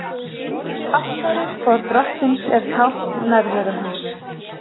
Altarið, borð Drottins, er tákn nærveru hans.